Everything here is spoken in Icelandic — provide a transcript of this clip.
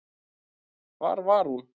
Hvar var hún?